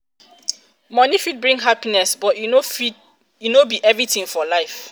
moni fit bring happiness but e no be everything for life. um